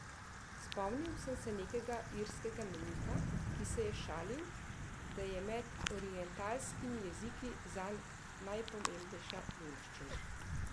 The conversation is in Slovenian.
Spomnil sem se nekega irskega meniha, ki se je šalil, da je med orientalskimi jeziki zanj najpomembnejša nemščina.